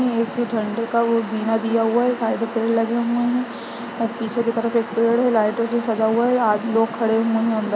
एक तो झंडे का वो दिना दिया हुआ हैं साइड में पेड़ लगे हुए हैं और पीछे की तरफ एक पेड़ हैं लाइटो से सजा हुआ हैं आदमी लोग खड़े हुए हैं अंदर--